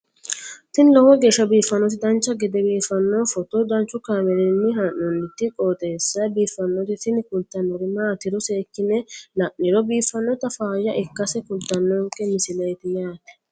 tini lowo geeshsha biiffannoti dancha gede biiffanno footo danchu kaameerinni haa'noonniti qooxeessa biiffannoti tini kultannori maatiro seekkine la'niro biiffannota faayya ikkase kultannoke misileeti yaate